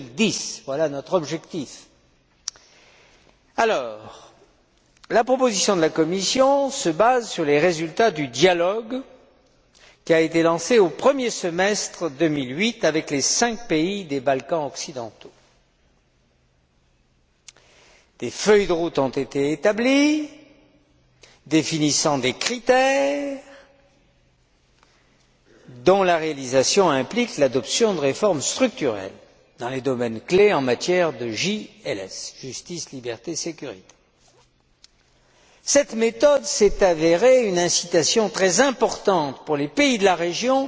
2010. La proposition de la Commission se base sur les résultats du dialogue qui a été lancé au premier semestre 2008 avec les cinq pays des Balkans occidentaux. Des feuilles de route ont été établies, définissant des critères dont la réalisation implique l'adoption de réformes structurelles dans les domaines clés en matière JLS justice, liberté, sécurité. Cette méthode s'est avérée une incitation très importante pour les pays de la région